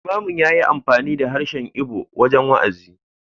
Limamin ya yi amfani da harshen Igbo wajen wa’azi.